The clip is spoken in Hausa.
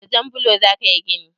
Da jan blo za ka yi gini?